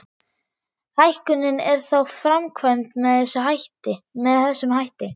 Hækkunin er þá framkvæmd með þessum hætti.